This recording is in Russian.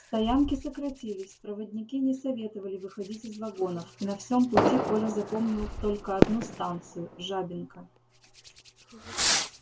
стоянки сократились проводники не советовали выходить из вагонов и на всём пути коля запомнил только одну станцию жабинка